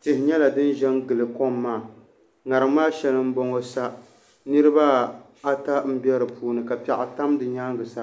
tihi nyɛla din ʒɛ n gili kom maa ŋarim maa shɛli n boŋo sa niraba ata n bɛ di puuni ka piɛɣu tam nyaangi sa